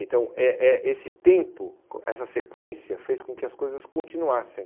Então, eh eh esse tempo, essa sequência fez com que as coisas continuassem.